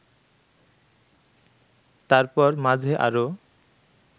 তারপর মাঝে আরও